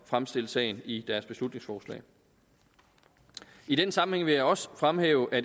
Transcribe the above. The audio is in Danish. fremstille sagen i deres beslutningsforslag i den sammenhæng vil jeg også fremhæve at